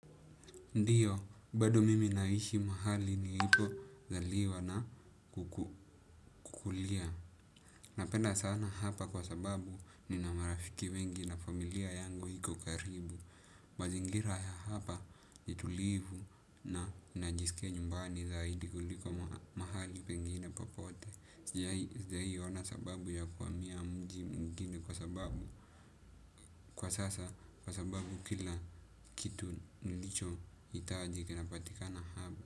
Ndiyo, bado mimi naishi mahali nilipozaliwa na kukulia. Napenda sana hapa kwa sababu nina marafiki wengi na familia yangu iko karibu. Mazingira ya hapa, ni tulivu na najisikia nyumbani zaidi kuliko mahali pengine popote. Sijawahi ona sababu ya kuhamia mji mwingine kwa sababu. Kwa sasa, kwa sababu kila kitu nilichohitaji kinapatikana hapa.